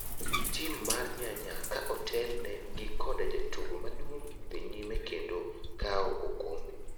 Tim mar nyanya ka otel ne gi koda jatugo maduong' dhi nyime kendo kawo okombe.